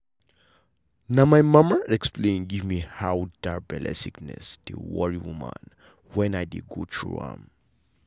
na my mama explain give me how that belle sickness dey worry woman when i dey go through am.